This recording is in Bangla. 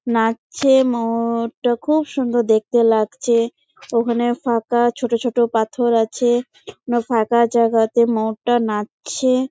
নাচছে ম-য়ুরটা খুব সুন্দর দেখতে লাগছে ওখানে ফাঁকা ছোট ছোট পাথর আছে। নো ফাঁকা জায়গা তে ময়ুরটা নাচছে ।